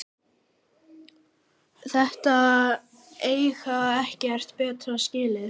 Þeir eiga ekkert betra skilið